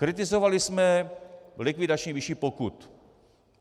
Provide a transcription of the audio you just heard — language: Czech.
Kritizovali jsme likvidační výši pokut.